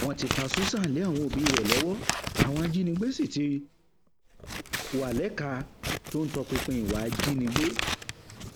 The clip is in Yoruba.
wọn ti fa susan lé àwọn òbí rẹ lọwọ àwọn ajínigbé sì ti wá lẹka tó ń tọpinpin ìwà ìjínigbé